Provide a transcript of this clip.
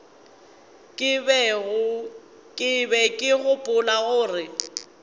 ke be ke gopola gore